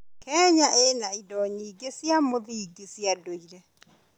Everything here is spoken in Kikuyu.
Kenya ĩna indo nyingĩ cia mũthingi cia ndũire.